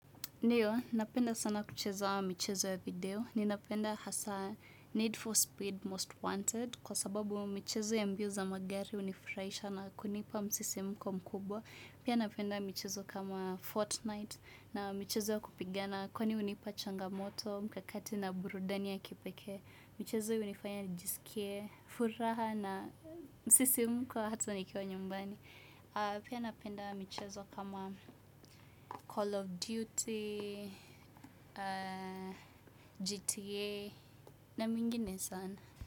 Ndiyo, napenda sana kucheza michezo ya video. Ninapenda hasaa Need for Speed, Most Wanted. Kwa sababu michezo ya mbio za magari hunifuraisha na kunipa msisimko mkubwa. Pia napenda michezo kama Fortnite na michezo ya kupigana. Kwani hunipa changamoto, mkakati na burudani ya kipeke. Michezo hunifanya nijisikie, furaha na msisimko hata nikiwa nyumbani. Pia napenda michezo kama Call of Duty, GTA na mingine sana.